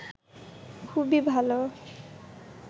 খুবই ভালো